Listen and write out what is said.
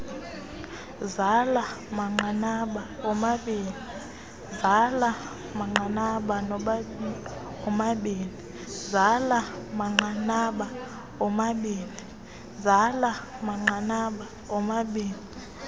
zala manqanaba omabini